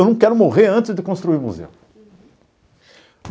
Eu não quero morrer antes de construir o museu. Uhum.